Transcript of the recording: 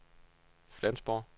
Flensborg